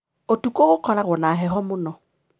Ũtukũ gũkoragwo na heho mũno.